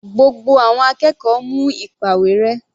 Gbogbo àwọn akẹ́kọ̀ọ́ mú ìpàwérẹ́.